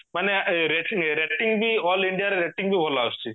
ମାନେ rating rating ବି all indiaରେ rating ବି ଭଲ ଆସୁଚି